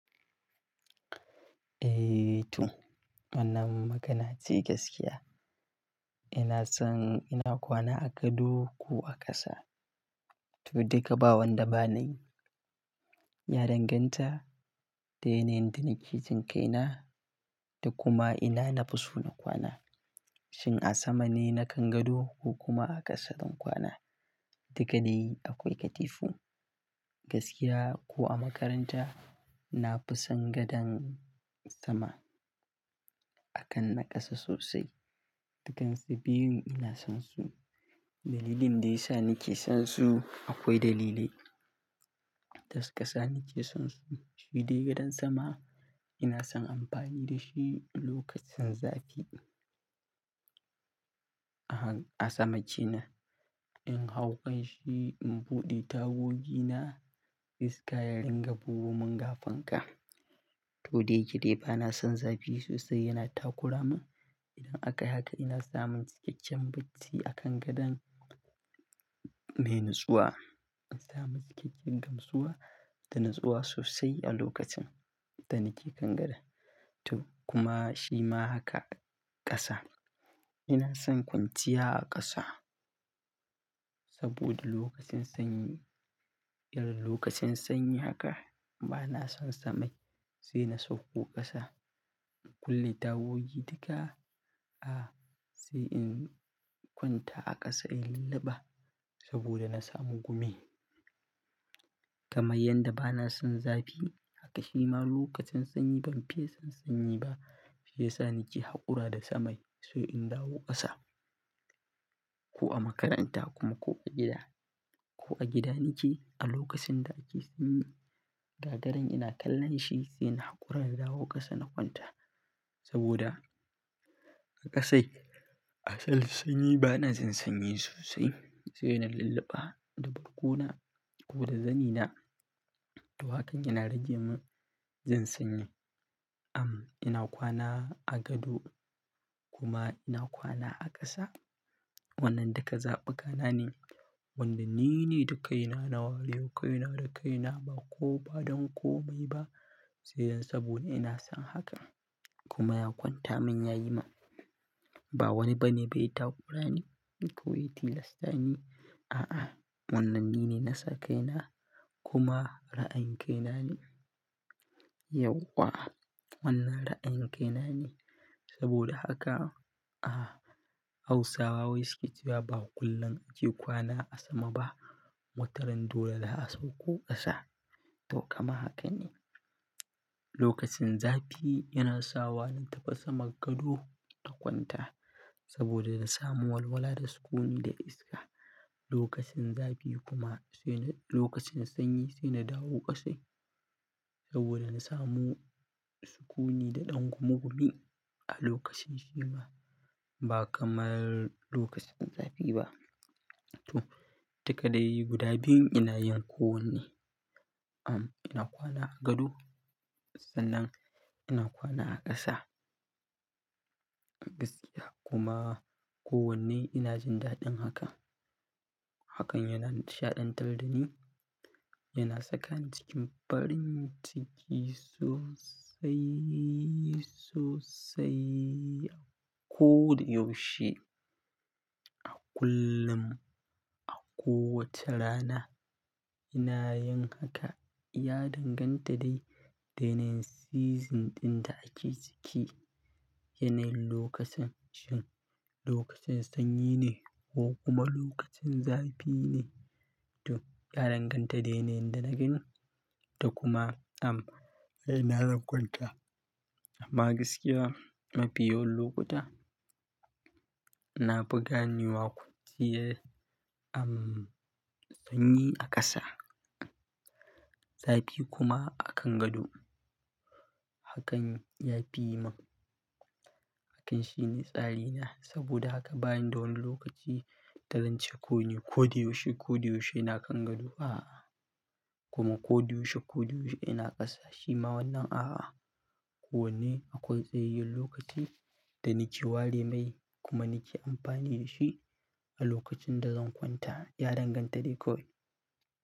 Eh to, wannan magana ce gaskiya. Ina son ina kwana a gado ko a ƙasa. To duka bawan da ba nayi, ya danganta da yanayin da nake jinkaina da kuma ina nafi so na kwana. Shin a sama ne nakan gado ko kuma a ƙasa zan kwana? Dagani akwai katifu, gaskiya ko a makaranta nafi son gadon sama akan na ƙasa sosai. Dukansa biyun ina son su. Dalilin da ya sa nake son su akwai dalilai. Tasa ƙasa nake son su. Shidai gadon sama ina son amfani da shi lokacin zafi. A han-- a sama ce na in hau kanshi in buɗe tagogi na, iska ya dinga bugo mun ga fanka. To da yake dai ba na son zafi sosai yana takuramin. Idan aka haka ina samun cikakken bacci a kan gadon mai natsuwa. Ina samun cikakken gamsuwa da natsuwa sosai a lokacin da nake kan gado. To kuma shi ma haka ƙasa. Ina son kwanciya a ƙasa saboda lokacin sanyi, irin lokacin sanyi haka ba na son sama sai na sauko ƙasa in kulle tagogi duka. A, sai in kwanta a ƙasa in lullaba saboda na samu gumi. Kamai yadda ba na son zafi haka shi ma lokacin sanyi ban fiye son sanyi ba. Shi ya sa nake haƙura da sama sai in dawo ƙasa ko a makaranta kuma ko a gida. Ko a gida nike a lokacin da ake sanyi, gagarun ina kallon shi sai na haƙura na dawo ƙasa na kwanta saboda haka sai. A han-- a sama ce na in hau kanshi in buɗe tagogi na, iska ya dinga bugo mun ga fanka. To dai gire ba na son zafi sosai yana takuramin. Am, ina kwana a gado kuma ina kwana a ƙasa. Wannan duka zaɓuka na ne wanda nine da kai na na warewa kai na da kai na ba ko ba don kome ba. Sai yanzu saboda ina son haka kuma ya kwanta mun yayi ma. Ba wani bane ba ya takura ni, ko ya tilasta ni. A'a wannan nine na sa kai na kuma ra'ayin kai na ne. Yawwa, wannan ra'ayin kai na ne saboda haka. A, Hausawa wai suke cewa ba kullum ake kwana a sama ba. Mutanen dole da a sauko ƙasa. To kama hakan ne. Lokacin zafi yana sawa na tafi saman gado in kwanta saboda na samu walwala da sukuni da iska. Lokacin zafi kuma sai na-- lokacin sanyi sai na dawo ƙasa saboda na samu sukuni da ɗan gumugumi a lokacin shi ma ba kamar lokacin zafi ba. To, duka dai guda biyun ina yin ko wanne. Am, ina kwana a gado sannan ina kwana a ƙasa. Gaskiya kuma ko wanne ina jin daɗin haka. Hakan yana shaɗantar da ni, yana saka ni cikin farin ciki sosai, sosai a ko da yaushe. A kullum, a kowace rana ina yin haka. Ya danganta dai da yanayin season ɗin da ake ciki. Yanayin lokacin, shin lokacin sanyi ne ko kuma lokacin zafi ne. To, ya danganta da yanayin da nake. To kuma am, ai ina zan kwanta amma gaskiya mafi yawan lokuta na buga ni wakunciye am, sanyi a ƙasa, zafi kuma akan gado. Hakan ya fi yi mun. Hakan shi ne tsari na saboda haka bani da wani lokaci da zance ko ne. Ko da yaushe, ko da yaushe ina kan gado a kuma ko da yaushe, ko da yaushe ina ƙasa. Shi ma wannan a kowane akwai tsayayyen lokaci da nike ware mai kuma nike amfani da shi a lokacin da zan kwanta. Ya danganta dai kawai.